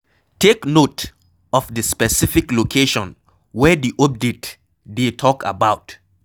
Take note of di specific location wey di update dey talk about